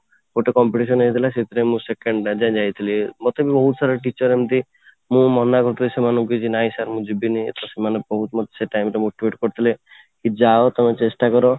ଗୋଟେ competition ହେଇଥିଲା ସେଥିପାଇଁ ମୁଁ second ଯାଇଥିଲି ମତେ ବହୁତ ସାରା teacher ଏମିତି ମୁଁ ମନା କରୁଥିବି ସେମାନଙ୍କୁ କି ନାଇଁ sir ମୁଁ ଯିବିନି ତ ସେମାନେ ବହୁତ ମତେ ସେ time ରେ motivate କରିଥିଲେ କି ଯା ତମେ ଚେଷ୍ଟା କର